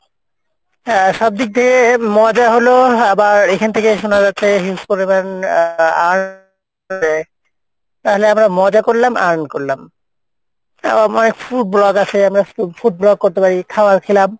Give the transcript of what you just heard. হ্যাঁ সবদিক দিয়ে মজা হলো আবার এখান থেকে শুনা যাচ্ছে huge পরিমাণ আহ earn দেই তাহলে আমরা মজা করলাম earn করলাম। আর আমরা food vloggers এ আমরা foo~ food vlog করতে পারি, খাওয়ার খেলাম,